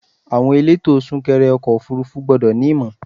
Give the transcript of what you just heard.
Àwọn elétò sún kẹrẹ ọkọ̀ òfúrúfú gbọ́dọ̀ ní ìmọ̀.